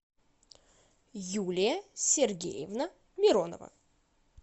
юлия сергеевна миронова